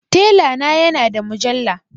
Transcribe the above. Tela na ya na da mujalla